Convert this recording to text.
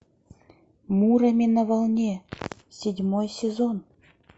муроми на волне седьмой сезон